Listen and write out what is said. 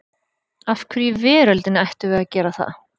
Af hverju í veröldinni ættum við að gera það?